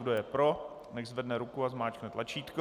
Kdo je pro, nechť zvedne ruku a zmáčkne tlačítko.